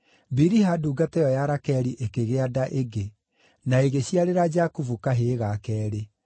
Biliha ndungata ĩyo ya Rakeli ĩkĩgĩa nda ĩngĩ, na ĩgĩciarĩra Jakubu kahĩĩ ga keerĩ.